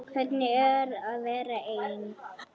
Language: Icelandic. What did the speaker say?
Hvernig er að vera ein?